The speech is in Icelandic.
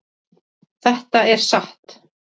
Þetta er satt!